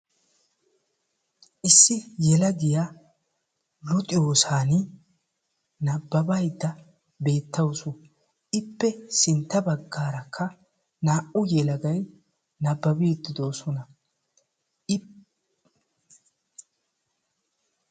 nababaydda beetawusu. ippe sintta bagaarakka naa'u yelagay nababiidi beetoosona.